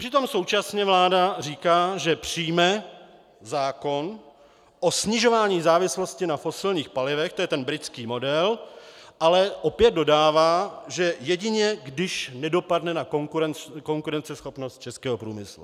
Přitom současně vláda říká, že přijme zákon o snižování závislosti na fosilních palivech, to je ten britský model, ale opět dodává, že jedině když nedopadne na konkurenceschopnost českého průmyslu.